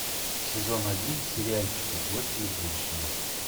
сезон один сериальчика гости из будущего